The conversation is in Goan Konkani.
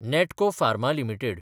Natco pharma limited